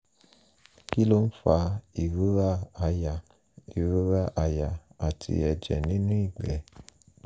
kí ló ń fa ìrora ara ìrora àyà àti ẹ̀jẹ̀ nínú ìgbẹ́?